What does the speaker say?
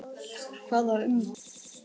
Hvaða umboð?